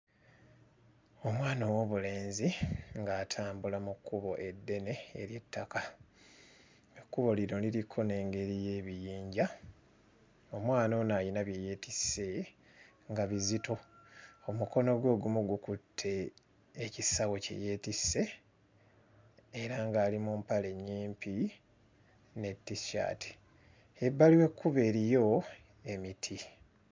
Omwana ow'obulenzi ng'atambula mu kkubo eddene ery'ettaka. Ekkubo lino liriko n'engeri y'ebiyinja. Omwana ono ayina bye yeetisse nga bizito. Omukono gwe ogumu gukutte ekisawo kye yeetisse era ng'ali mu mpale nnyimpi ne t-shirt. Ebbali w'ekkubo eriyo emiti.